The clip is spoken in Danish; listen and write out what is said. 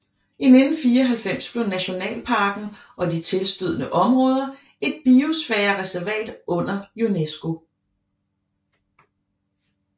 I 1994 blev nationalparken og de tilstødende områder et biosfærereservat under UNESCO